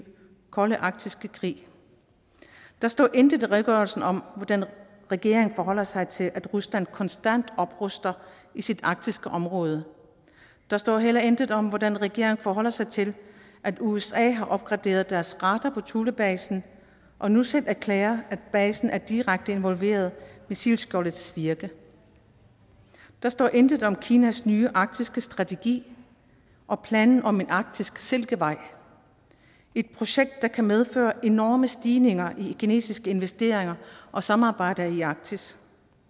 kolde arktiske krig der står intet i redegørelsen om hvordan regeringen forholder sig til at rusland konstant opruster i sit arktiske område der står heller intet om hvordan regeringen forholder sig til at usa har opgraderet deres radar på thulebasen og nu selv erklærer at basen er direkte involveret i missilskjoldets virke der står intet om kinas nye arktiske strategi og planen om en arktisk silkevej et projekt der kan medføre enorme stigninger i kinesiske investeringer og samarbejder i arktis